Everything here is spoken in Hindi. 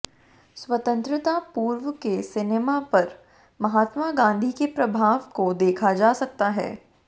स्वतंत्रता पूर्व के सिनेमा पर महात्मा गांधी के प्रभाव को देखा जा सकता है